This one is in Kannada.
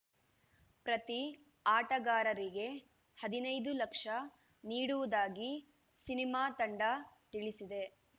ಪ್ರತಿ ಆಟಗಾರರಿಗೆ ಹದಿನೈದು ಲಕ್ಷ ನೀಡುವುದಾಗಿ ಸಿನಿಮಾ ತಂಡ ತಿಳಿಸಿದೆ